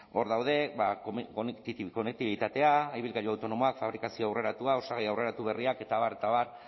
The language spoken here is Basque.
hor daude konektibitatea ibilgailu autonomoak fabrikazio aurreratua osagai aurreratu berriak eta abar eta abar